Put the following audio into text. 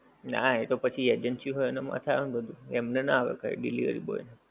નાં એ તો પછી agency હોય એનાં માથે આવે ને બધુ, એમને ના આવે કઈ delivery boy ને.